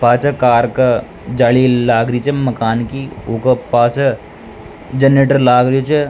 पाछे कार के जाली लाग री छ मकान की ऊके पास जनरेटर लाग रियो छ।